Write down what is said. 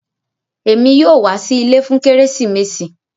Ẹmi yòó wà sí ilẹ̀ fún Keresimesi